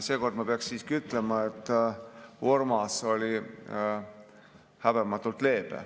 Seekord ma peaksin siiski ütlema, et Urmas oli häbematult leebe.